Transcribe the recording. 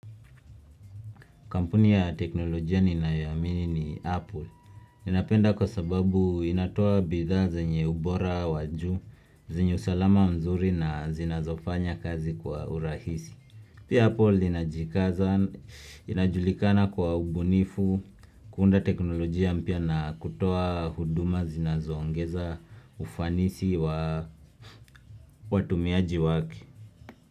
Kampuni ya teknolojia ninayo iamini ni Apple. Ninapenda kwa sababu inatoa bidhaa zenye ubora wajuu, zenye usalama mzuri na zinazofanya kazi kwa urahisi. Pia Apple inajikaza, inajulikana kwa ubunifu, kuunda teknolojia mpya na kutoa huduma zinazoongeza ufanisi wa watumiaji wake.